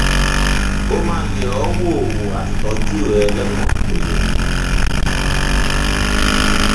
ó máa yẹ ọ wò wò á sì tọjú ẹ lọnà tó yẹ